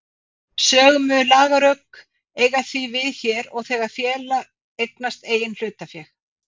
Sömu lagarök eiga því við hér og þegar félag eignast eigin hlutabréf.